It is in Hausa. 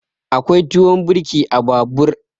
Akwai tuwon birki a babur.